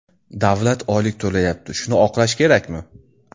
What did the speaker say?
Davlat oylik to‘layapti, shuni oqlash kerakmi?